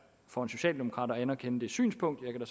for en socialdemokrat at anerkende det synspunkt jeg kan